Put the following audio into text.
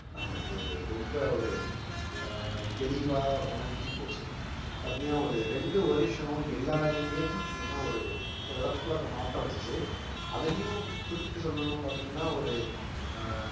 நமக்கு ரொம்ப ஒரு அஹ் தெளிவா உணர்த்தி போச்சு பாத்தீங்கன்னா ஒரு ரெண்டு வருஷம் எல்லாரையுமே பாத்தீங்கன்னா ஒரு ஒரு இடத்துக்குள்ள மாட்ட வச்சுச்சு அதுலயும் குறிப்பிட்டு சொல்லணும்னு பாத்தீங்கன்னா ஒரு அஹ்